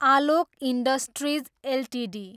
Alok industries Ltd